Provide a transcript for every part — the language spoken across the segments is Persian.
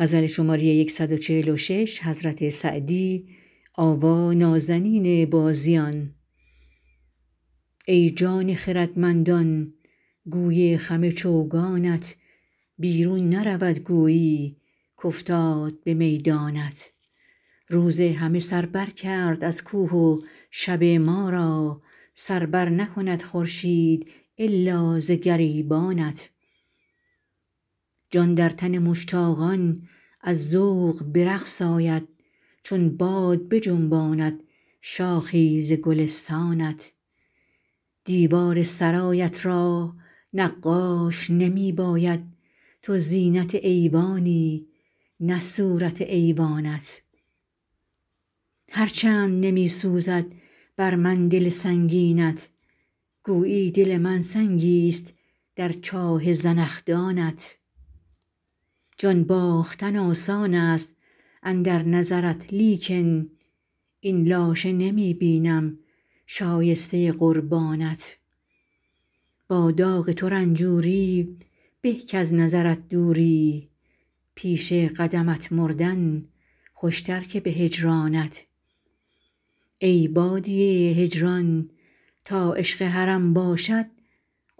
ای جان خردمندان گوی خم چوگانت بیرون نرود گویی کافتاد به میدانت روز همه سر بر کرد از کوه و شب ما را سر بر نکند خورشید الا ز گریبانت جان در تن مشتاقان از ذوق به رقص آید چون باد بجنباند شاخی ز گلستانت دیوار سرایت را نقاش نمی باید تو زینت ایوانی نه صورت ایوانت هر چند نمی سوزد بر من دل سنگینت گویی دل من سنگیست در چاه زنخدانت جان باختن آسان است اندر نظرت لیکن این لاشه نمی بینم شایسته قربانت با داغ تو رنجوری به کز نظرت دوری پیش قدمت مردن خوشتر که به هجرانت ای بادیه هجران تا عشق حرم باشد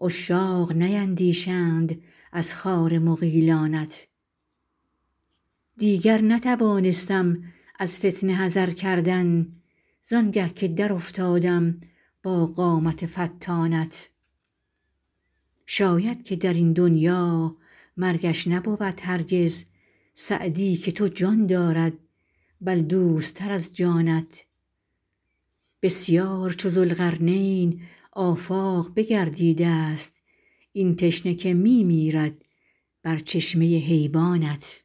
عشاق نیندیشند از خار مغیلانت دیگر نتوانستم از فتنه حذر کردن زآنگه که در افتادم با قامت فتانت شاید که در این دنیا مرگش نبود هرگز سعدی که تو جان دارد بل دوست تر از جانت بسیار چو ذوالقرنین آفاق بگردیده ست این تشنه که می میرد بر چشمه حیوانت